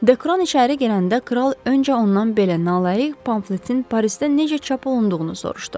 Dekron içəri girəndə kral öncə ondan belə nalayiq pamfletin Parisdə necə çap olunduğunu soruşdu.